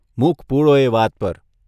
મૂક પૂળો એ વાત પર.